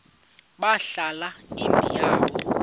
balahla imbo yabo